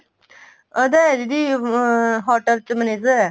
ਉਹਦਾ ਏ ਦੀਦੀ hotel ਚ manager ਹੈ